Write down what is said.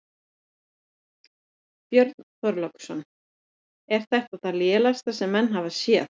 Björn Þorláksson: Er þetta það lélegasta sem menn hafa séð?